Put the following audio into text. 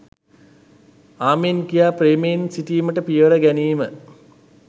ආමෙන් කියා ප්‍රේමයෙන් සිටීමට පියවර ගැනීම